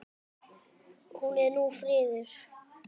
Hún er nú friðuð.